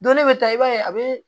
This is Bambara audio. Don ne bɛ taa i b'a ye a bɛ